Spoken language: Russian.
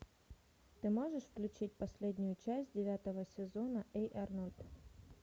ты можешь включить последнюю часть девятого сезона эй арнольд